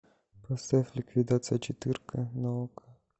поставь ликвидация четырка на окко